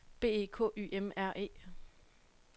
B E K Y M R E